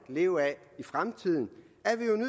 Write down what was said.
leve af i fremtiden